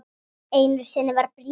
Einu sinni var bréf.